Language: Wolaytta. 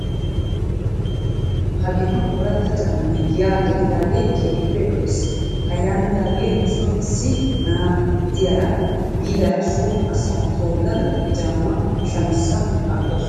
Hagiddon ooratta caammay giyaa gelidaagee keehippe lo''es. Ha yaanidaaga nuson issi na'a diyaara be'idaara so asaa tolada he caamaa shamissa aggaasu.